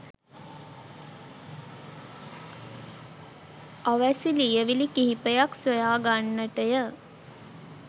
අවැසි ලියවිලි කිහිපයක් සොයා ගන්නට ය